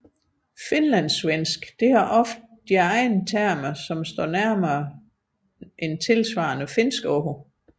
Finlandssvensk har ofte egne termer som står nærmere tilsvarende finske ord